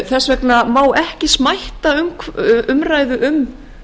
þess vegna má ekki smætta umræðu um